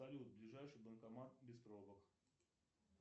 салют ближайший банкомат без пробок